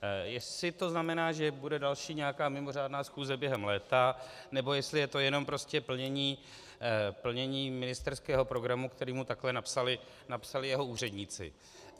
Jestli to znamená, že bude další nějaká mimořádná schůze během léta, nebo jestli je to jenom prostě plnění ministerského programu, který mu takhle napsali jeho úředníci.